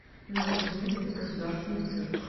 новокузнецкий государственный цирк